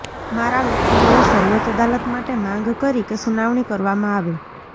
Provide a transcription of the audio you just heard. મારા વકીલોએ સર્વોચ્ચ અદાલત માટે માંગ કરી કે સુનાવણી કરવામાં આવે